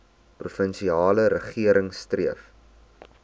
provinsiale regering streef